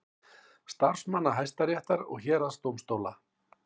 Starfsmanna Hæstaréttar og héraðsdómstóla.